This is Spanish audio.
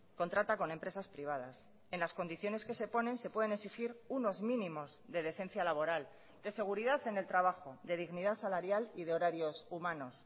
contrata con empresas privadas en las condiciones que se ponen se pueden exigir unos mínimos de decencia laboral de seguridad en el trabajo de dignidad salarial y de horarios humanos